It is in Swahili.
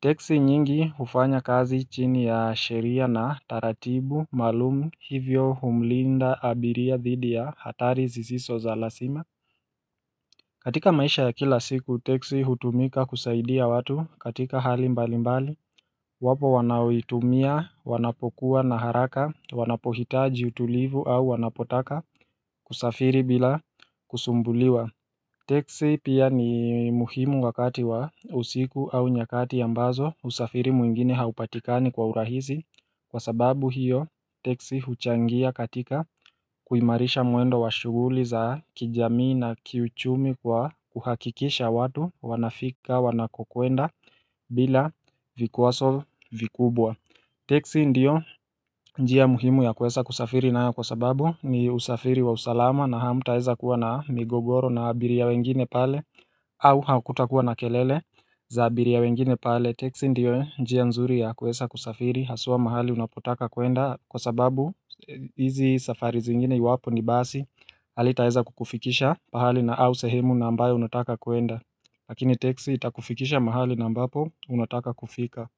teksi nyingi hufanya kazi chini ya sheria na taratibu maalum. Hivyo humlinda abiria dhidi ya hatari zisizo za lazima. Katika maisha ya kila siku, teksi hutumika kusaidia watu katika hali mbalimbali. Wapo wanaoitumia, wanapokuwa na haraka, wanapohitaji utulivu au wanapotaka kusafiri bila kusumbuliwa. Teksi pia ni muhimu wakati wa usiku au nyakati ambazo usafiri mwingine haupatikani kwa urahisi kwa sababu hiyo teksi huchangia katika kuimarisha muendo wa shughuli za kijamii na kiuchumi kwa kuhakikisha watu wanafika wanakokuenda. Bila vikwazo vikubwa. Teksi ndiyo njia muhimu ya kuweza kusafiri nayo kwa sababu ni usafiri wa usalama na hamutaweza kuwa na migogoro na abiria wengine pale. Au hakutakuwa na kelele za abiria wengine pale teksi ndiyo njia nzuri ya kuweza kusafiri haswa mahali unapotaka kuenda kwa sababu hizi safari zingine iwapo ni basi alitaweza kukufikisha pahali na au sehemu ambayo unataka kuenda. Lakini teksi itakufikisha mahali ambapo unataka kufika.